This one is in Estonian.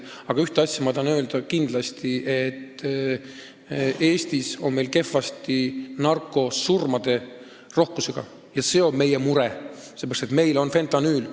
Aga ühte asja ma tahan kindlasti öelda: Eestis on kehvasti narkosurmade rohkusega, sellepärast, et meil on fentanüül.